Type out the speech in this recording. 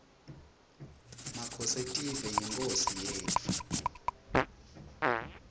makhosetive yinkhosi yetfu